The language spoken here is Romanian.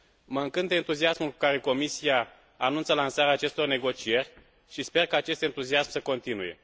Mă încântă entuziasmul cu care Comisia anunță lansarea acestor negocieri și sper ca acest entuziasm să continue.